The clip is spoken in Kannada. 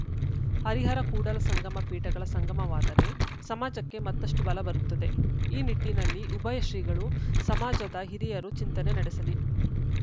ಹರಿಹರಕೂಡಲ ಸಂಗಮ ಪೀಠಗಳ ಸಂಗಮವಾದರೆ ಸಮಾಜಕ್ಕೆ ಮತ್ತಷ್ಟುಬಲ ಬರುತ್ತದೆ ಈ ನಿಟ್ಟಿನಲ್ಲಿ ಉಭಯ ಶ್ರೀಗಳು ಸಮಾಜದ ಹಿರಿಯರು ಚಿಂತನೆ ನಡೆಸಲಿ